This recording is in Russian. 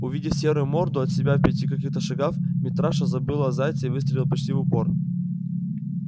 увидев серую морду от себя в пяти каких-то шагах митраша забыл о зайце и выстрелил почти в упор